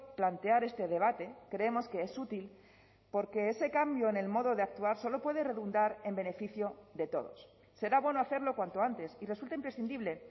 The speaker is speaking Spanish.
plantear este debate creemos que es útil porque ese cambio en el modo de actuar solo puede redundar en beneficio de todos será bueno hacerlo cuanto antes y resulta imprescindible